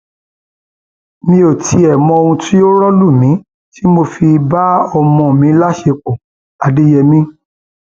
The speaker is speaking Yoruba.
mi ò tiẹ mọ ohun tó rọ lù mí tí mo fi bá ọmọ mi láṣepọ adéyèmí